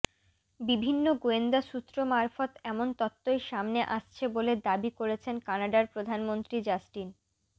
বিভিন্ন গোয়েন্দা সূত্র মারফত এমন তত্ত্বই সামনে আসছে বলে দাবি করেছেন কানাডার প্রধানমন্ত্রী জাস্টিন